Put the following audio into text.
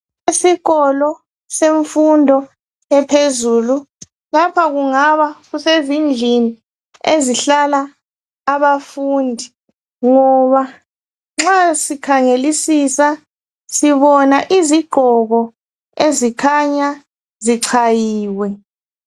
Isikolo semfundo ephezulu. Lapha kungaba sezindlini ezihlala abafundi, ngoba nxa sikhangelisisa sibona izigqoko ezikhanya zichayiwe.